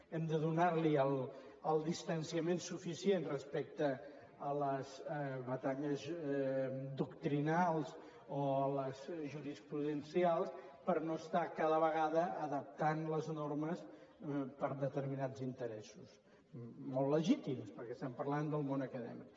hem de donar hi el distanciament suficient respecte a les batalles doctrinals o a les jurisprudencials per no estar cada vegada adaptant les normes per determinats interessos molt legítims perquè estem parlant del món acadèmic